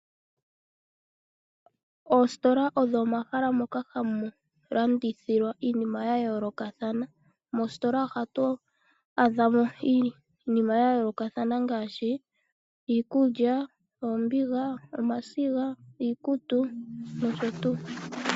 Oostola odho omahala moka hamu landithilwa iinima yayoolokathana. Moostola ohatu adhamo iinima yayoolokathana ngaashi iikulya, oombiga, omasiga, iikutu nosho tuu.